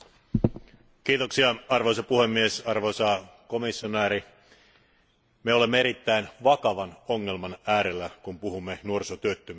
Arvoisa puhemies, arvoisa komissaari, me olemme erittäin vakavan ongelman äärellä, kun puhumme nuorisotyöttömyydestä Euroopan unionissa.